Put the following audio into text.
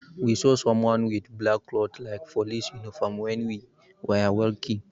We saw someone with black cloth like police uniform, when we were walking.